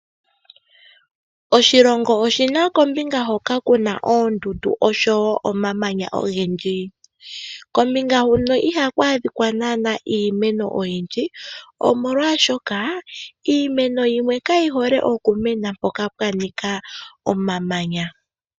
Oshilongo oshina kombinga hoka kuna oondundu oshowo omamanya ogendji kombinga huno iha ku adhikwa naanaa iimeno oyindji omolwashoka iimeno yimwe kayi hole okumena mpoka pwa nika omamanya.